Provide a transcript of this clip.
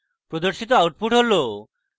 প্রদর্শিত output হল: